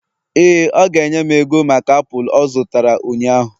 éè, ọ ga-enye m ego maka apụl ọ zụtara ụnyahụ